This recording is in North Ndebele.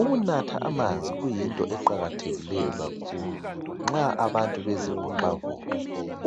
Ukunatha amanzi kuyinto eqakathekileyo kakhulu nxa abantu bezivoxavoxa